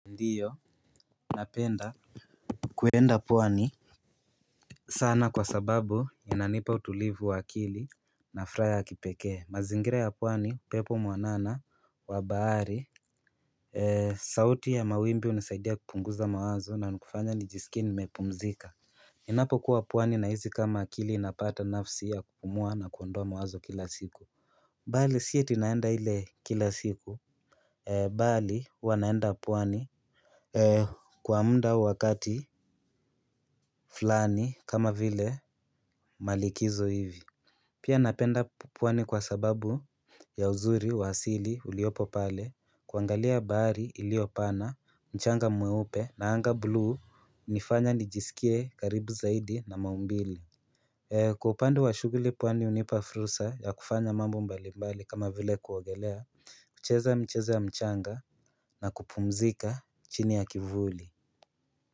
Ndiyo, napenda kuenda pwani sana kwa sababu inanipa utulivu wa akili na furaha ya kipekee, mazingira ya pwani upepo mwanana wa bahari sauti ya mawimbi hunisaidia kupunguza mawazo na kufanya nijisikie nimepumzika Ninapo kuwa pwani na hisi kama akili inapata nafsi ya kupumua na kuondoa mawazo kila siku Bali si atinaenda ile kila siku Bali huwanaenda pwani Kwa muda au wakati fulani kama vile malikizo hivi Pia napenda pwani kwa sababu ya uzuri wa asili uliopo pale kuangalia bahari iliyopana mchanga mweupe na anga blu hunifanya nijisikie karibu zaidi na maumbile Kwa upande wa shughuli pwani hunipa fursa ya kufanya mambo mbalimbali kama vile kuogelea kucheza micheza ya mchanga na kupumzika chini ya kivuli.